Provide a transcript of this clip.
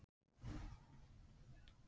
Hann teygði sig í myndina.